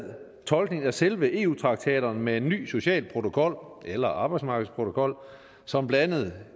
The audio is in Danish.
tolkningen af selve eu traktaterne med en ny social protokol eller arbejdsmarkedsprotokol som blandt andet